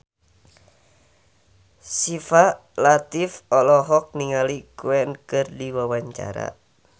Syifa Latief olohok ningali Queen keur diwawancara